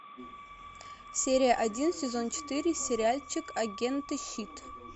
серия один сезон четыре сериальчик агенты щит